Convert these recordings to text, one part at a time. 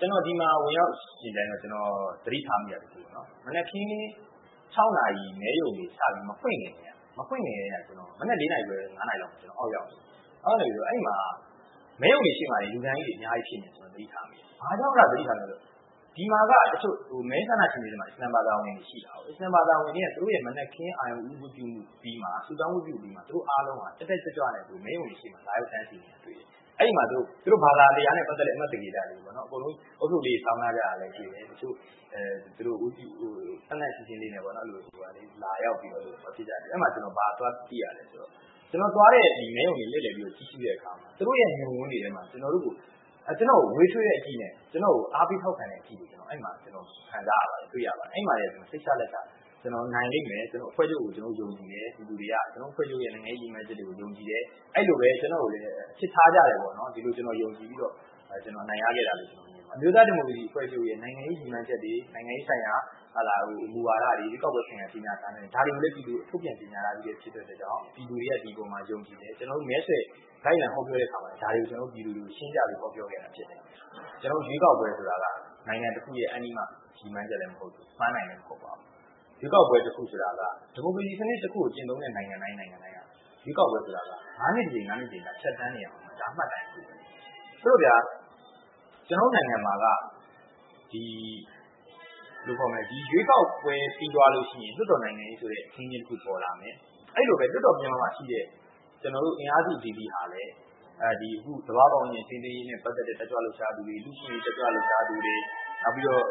ကျနော် ဒီမှာဝင်ရောက်ယှဉ်ပြိုင်တော့ သတိထားမိတာတစ်ခုက မနက်ခင် နာရီ မဲရုံတွေ စပြီးမဖွင့်ခင်ကတည်းက မနက် နာရီခွဲ နာရီမှာ ကျနော် အောက်ရောက်နေခဲ့တယ်။ အဲဒီမှာ မဲရုံတွေရှေ့မှာ လူတန်းကြီးတွေ အများကြီး ရှိနေတာကို သတိထားမိတယ်။ ဘာကြောင့် အဲဒါကို သတိထားမိသလဲဆိုရင် ဒီမှာက မဲဆန္ဒရှင်တွေ တချို့မှာ အစ္စလာမ်ဘာသာဝင်တွေ ရှိကြတယ်။ အစ္စလာမ်ဘာသာဝင်တွေက သူတို့ရဲ့ မနက်ခင်း အာရုဏ်ဦးဝတ်ပြုမှုအပြီးမှာ ဆုတောင်ပြုပြီးနောက်မှာ သူတို့အားလုံးက တက်တက်ကြွကြွနဲ့ မဲရုံတွေရှေ့မှာ လာရောက်တန်းစီးနေတာကို တွေ့ရတယ်။ အဲဒီမှာ သူတို့ဘာသာတရားနဲ့ ပတ်သက်တဲ့ အမှတ်သင်္ကေတတွေ အားလုံးဦးထုပ်လေးတွေ ဆောင်ထားကြတာကိုလည်း တွေ့ရတယ်။ သန့်သန့်ရှင်းရှင်းလေးနဲ့ လာရောက်ပြီးတော့ မဲပေးကြတယ်။ အဲဒီမှာ ကျနော် ဘာသတိထားမိလဲဆိုတော့ ကျနော်သွားတဲ့ မဲရုံတွေကို လှည့်လည်ကြည့်ရှုတဲ့အခါမှာ သူတို့ရဲ့ မျက်ဝန်းတွေထဲမှာ ကျနော့်ကို နွေးထွေးတဲ့အကြည့်နဲ့ အားပေးထောက်ခံတဲ့ အကြည့်တွေကို အဲဒီမှာ တွေ့ရခံစားရပါတယ်။ အဲဒီမှာကတည်းက စိတ်ချလက်ချ ကျနော် နိုင်လိမ့်မယ်။ အဖွဲ့ချုပ်ကို ပြည်သူတွေက ယုံကြည်တယ်။ ကျနော်တို့ အဖွဲ့ချုပ်ရဲ့ နိုင်ငံရေးရည်မှန်းချက်တွေကို ယုံကြည်တယ်။ အဲဒီလိုပဲ ကျနော့်ကိုလည်း အချစ်ထားကြတယ်လို့ ဒီလိုယုံကြည်ပြီးတော့ အနိုင်ရခဲ့တာလို့ ကျနော်မြင်ပါတယ်။ အမျိုးသားဒီမိုကရေစီအဖွဲ့ချုပ်ရဲ့ နိုင်ငံရေးရည်မှန်းချက်တွေ၊ နိုင်ငံရေးဆိုင်ရာ မူဝါဒတွေ၊ ရွေးကောက်ပွဲဆိုင်ရာ ကြေညာစာတမ်းတွေ - ဒါတွေကို ပြည်သူတွေကို ထုတ်ပြန်ထားပြီး ဖြစ်တဲ့အတွက်ကြောင့်မို့ ပြည်သူတွေက ဒီအပေါ်မှာ ယုံကြည်တယ်။ ကျနော်တို့ မဲဆွယ်လိုက်လံဟောပြောတဲ့အခါမှာ ပြည်သူတွေကို ရှင်းပြဟောပြောခဲ့တာ ဖြစ်ပါတယ်။ ရွေးကောက်ပွဲဆိုတာက နိုင်ငံတစ်ခုရဲ့ အန္တိမ ရည်မှန်းချက်လည်း မဟုတ်သလို၊ ပန်းတိုင်လည်း မဟုတ်ပါဘူး။ ရွေးကောက်ပွဲတစ်ခုဆိုတာက ဒီမိုကရေစီစနစ်ကို ကျင့်သုံးတဲ့နိုင်ငံတိုင်းဆိုတာက ငါးနှစ်တစ်ကြိမ်၊ ဖြတ်သန်းနေရအုံးမယ့် မှတ်တိုင်တစ်ခုပါ။ ဆိုတော့ ကျနော်တို့နိုင်ငံမှာက ရွေးကောက်ပွဲပြီးသွားတဲ့အခါ လွှတ်တော်နိုင်ငံရေးအခင်းအကျင်းတစ်ခု ပေါ်လာမယ်။ အဲဒီလိုပဲ လွှတ်တော်ပြင်ပမှာရှိတဲ့ အင်အားစုအသီးသီးကလည်း သဘာဝပတ်ဝန်းကျင် ထိန်းသိမ်းရေးနဲ့ ပတ်သက်တဲ့ တက်ကြွလှုပ်ရှားသူတွေ၊ လူ့အခွင့်အရေး တက်ကြွလှုပ်ရှားသူတွေ၊ နောက်ပြီးတော့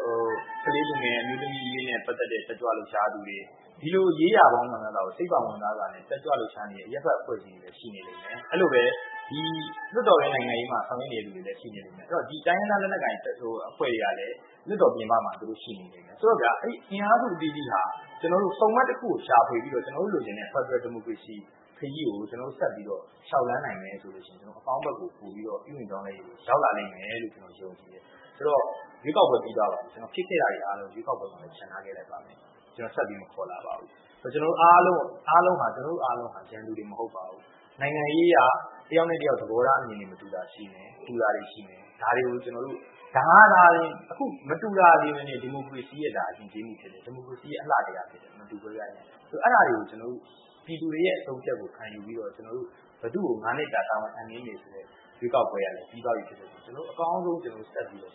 ကလေးသူငယ်၊ အမျိုးသမီးအရေးနဲ့ ပတ်သက်တဲ့ တက်ကြွလှုပ်ရှားသူတွေ။ ဒီလိုရေးရာပေါင်းမြောက်မြားစွာကို စိတ်ဝင်စားစွာဖြင့် တက်ကြွလှုပ်ရှားနေတဲ့ အရပ်ဘက်အဖွဲ့အစည်းတွေလည်း ရှိနေလိမ့်မယ်။ အဲဒီလိုပဲ လွှတ်တော်တွင်းနိုင်ငံရေးမှာ ဆောင်ရွက်နေသူတွေလည်း ရှိနေလေတော့ တိုင်းရင်းသားလက်နက်ကိုင်အဖွဲ့တွေကလည်း လွှတ်တော်ပြင်ပမှာ ရှိနေလိမ့်မယ်။ ဆိုတော့ အင်အားစုအသီးသီးက ဆုံမှတ်တစ်ခုကို ရှာဖွေပြီးတော့ ကျနော်တို့ လိုချင်တဲ့ ဖယ်ဒရယ်ဒီမိုကရေစီခရီးကို ကျနော်တို့ ဆက်ပြီးတော့ လျှောက်လှမ်းနိုင်မယ်ဆိုရင် ကျနော်တို့ အကောင်းဘက်ကို ပိုပြီးတော့ ပြုပြင်ပြောင်းလဲရေးကို ရောက်လာလိမ့်မယ်လို့ ကျနော် ယုံကြည်တယ်။ ဆိုတော့ ရွေးကောက်ပွဲ ပြီးသွားပါပြီ။ ဖြစ်ခဲ့တာတွေအားလုံးကို ရွေးကောက်ပွဲမှာ ချန်ထားခဲ့ပါမယ်။ ဆက်ပြီးတော့ မခေါ်လာပါဘူး။ ကျနော်တို့အားလုံးဟာ ရန်သူတွေ မဟုတ်ပါဘူး။ နိုင်ငံရေးအရ တစ်ယောက်နဲ့တစ်ယောက် သဘောထားအမြင်တွေ မတူတာရှိမယ်။ တူတာရှိမယ်။ ဒါတွေကို ကျနော်တို့ ဒါကသာလျှင် မတူတာတွေကပင် ဒီမိုကရေစီ ယဉ်ကျေးမှု၊ ဒီမိုကရေစီရဲ့ အလှတရား ဖြစ်တယ်။ မတူကွဲပြားခြင်းက။ အဲဒါတွေကို ပြည်သူတွေရဲ့ အဆုံးအဖြတ်ကို ခံယူပြီးတော့ ကျနော်တို့က ဘယ်သူကို ငါးနှစ်တာ တာဝန်အပ်နှင်းမယ်ဆိုတဲ့ ရွေးကောက်ပွဲက ပြီးသွားပြီဖြစ်တဲ့အတွက်ကြောင့် ကျနော်တို့ အကောင်းဆုံးဆက်ပြီးတော့